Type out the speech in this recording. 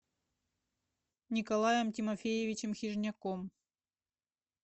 николаем тимофеевичем хижняком